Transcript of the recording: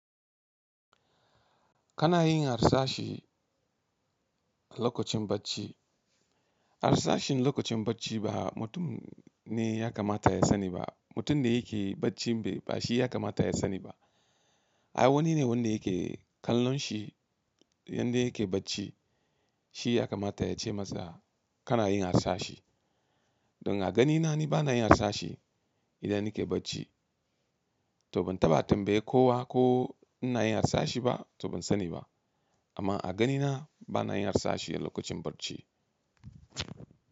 Kana yin harsashi lokacin bacci. Harsashin lokacin bacci ba mutum ne ya kamata ya sani ba. Mutum da yake bacci bai ba shi ya kamata ya sani ba. Ai wani ne wanda yake kallon shi yanda yake bacci, shi ya kamata ya ce masa kana yin harshashe. Don a gani na ni bana iya yin harshashi idan nake bacci, to ban taɓa tambaye kowa ko ina yin harsashi ba to ban sani ba. Amma a ganina bana yin harsashi a lokacin bacci.